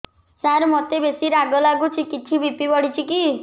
ସାର ମୋତେ ବେସି ରାଗ ଲାଗୁଚି କିଛି ବି.ପି ବଢ଼ିଚି କି